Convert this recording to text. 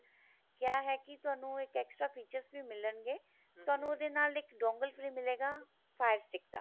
ਕਿਆ ਹੈ ਕੀ ਤੁਹਾਨੂੰ ਇੱਕ extra features ਵੀ ਮਿਲਣਗੇ ਤੁਹਾਨੂੰ ਉਹਦੇ ਨਾਲ ਇੱਕ dongle free ਮਿਲੇਗਾ fire stick ਦਾ